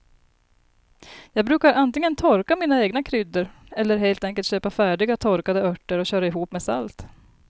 Jag brukar antingen torka mina egna kryddor eller helt enkelt köpa färdiga torkade örter och köra ihop med salt.